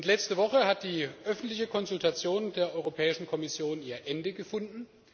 Letzte Woche hat die öffentliche Konsultation der Europäischen Kommission ihr Ende gefunden.